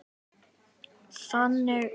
Þannig var Bangsi.